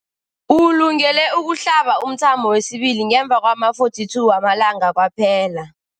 Ulungele ukuhlaba umthamo wesibili ngemva kwama-42 wamalanga kwaphela.